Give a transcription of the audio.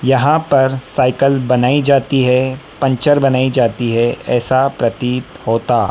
यहां पर साईकल बनाई जाती है पंचर बनाई जाती है यैसा प्रतीत होता--